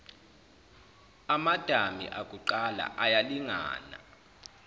amadami akuqala ayalingana